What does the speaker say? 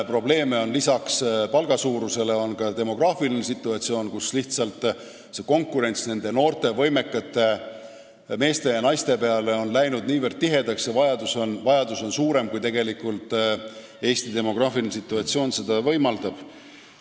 Probleeme tekitab peale palga väiksuse ka demograafiline situatsioon, sest konkurents noorte võimekate meeste ja naiste tööle saamisel on läinud lihtsalt niivõrd tihedaks ja vajadus on suurem, kui Eesti demograafiline situatsioon rahuldada võimaldab.